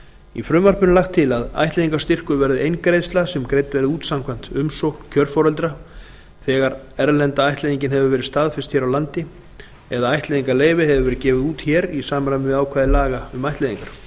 í frumvarpinu er lagt til að ættleiðingarstyrkur verði eingreiðsla sem greidd verði út samkvæmt umsókn kjörforeldra þegar erlenda ættleiðingin hefur verið staðfest hér á landi eða ættleiðingarleyfi hefur verið gefið út hér í samræmi við ákvæði laga um ættleiðingar